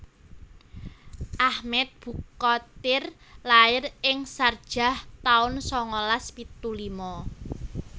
Ahmed Bukhatir lair ing Sharjah taun sangalas pitu lima